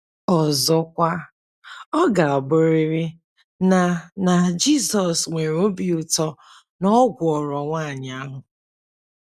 Ọzọkwa, ọ ga - abụrịrị na na Jizọs nwere obi ụtọ na ọ gwọrọ nwaanyị ahụ!